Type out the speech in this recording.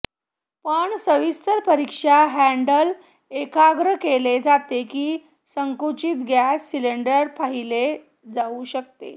पण सविस्तर परीक्षा हँडल एकाग्र केले जाते की संकुचित गॅस सिलिंडर पाहिले जाऊ शकते